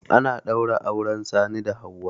Ana ɗaura auren Sani da Hauwa.